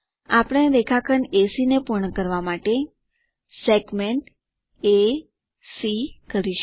આપણે રેખાખંડ એસી ને પૂર્ણ કરવા માટે SegmentA C કરીશું